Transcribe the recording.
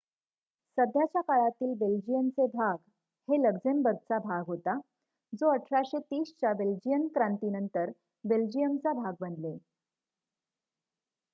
सध्याच्या काळातील बेल्जियनचे भाग हे लक्झेम्बर्गचा भाग होता जो 1830 च्या बेल्जियन क्रांतीनंतर बेल्जियमचा भाग बनले